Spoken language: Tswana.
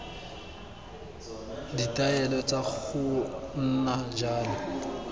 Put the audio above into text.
ditaelo tsa go nna jalo